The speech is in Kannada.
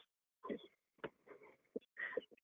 .